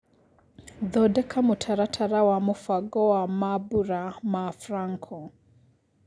thondeka mũtaratara wa mũbango wa mambũra ma Franco